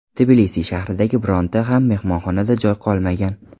Tbilisi shahridagi bironta ham mehmonxonada joy qolmagan.